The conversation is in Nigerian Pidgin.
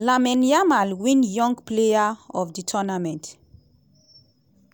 lamine yamal win young player of di tournament.